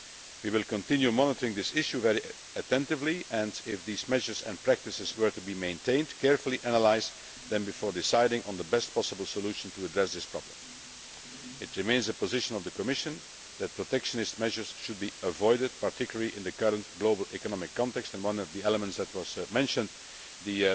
We will continue monitoring this issue very attentively and, if these measures and practices were to be maintained, carefully analyse them before deciding on the best possible solution to address this problem. It remains the position of the Commission that protectionist measures should be avoided particularly in the current global economic context, and one of the elements that was mentioned, the